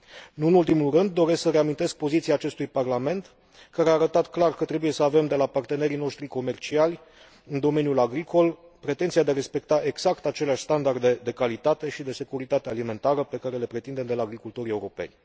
Nu în ultimul rând, doresc să reamintesc poziția acestui parlament, care a arătat clar că trebuie să avem de la partenerii noștri comerciali în domeniul agricol pretenția de a respecta exact aceleași standarde de calitate și de securitate alimentară pe care le pretindem de la agricultorii europeni.